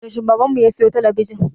Yaushe baban mu ya siyo talabijin?